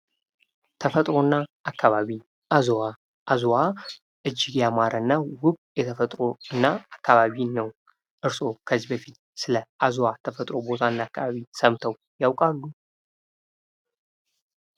ተፈጥሮ እና አካባቢ ፦ አዝዋ ፦ አዝዋ እጅግ ያማረና ውብ የተፈጥሮ እና አካባቢ ነው ። እርስዎ ከዚህ በፊት ስለ አዝዋ ቦታ ተፈጥሮ እና አካባቢ ሰምተው ያውቃሉ ?